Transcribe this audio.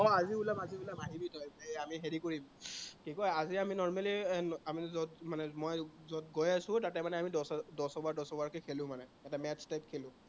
আজি ওলাম আজি ওলাম, আহিবি তই, হেই আমি হেৰি কৰিম, কি কয় আজি আমি normally এৰ আমি যত মানে মই যত গৈ আছো, তাতে মানে আমি দহ, দহ অভাৰ কে খেলো মানে। এটা match type খেলো।